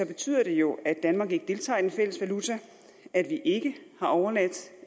betyder det jo at danmark ikke deltager i den fælles valuta at vi ikke har overladt